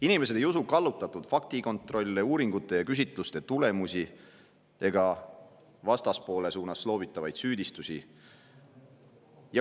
Inimesed ei usu kallutatud faktikontrolle, uuringute ja küsitluste tulemusi ega vastaspoole pihta loobitavaid süüdistusi.